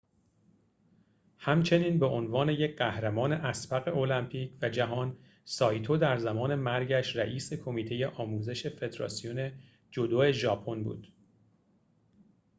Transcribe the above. همچنین به عنوان یک قهرمان اسبق المپیک و جهان سایتو در زمان مرگش رئیس کمیته آموزش فدراسیون جودو ژاپن بود